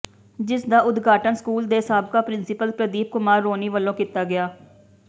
ਜਿਸ ਦਾ ਉਦਾਘਟਨ ਸਕੂਲ ਦੇ ਸਾਬਕਾ ਪਿ੍ਰੰਸੀਪਲ ਪ੍ਰਦੀਪ ਕੁਮਾਰ ਰੋਣੀ ਵੱਲੋਂ ਕੀਤਾ ਗਿਆ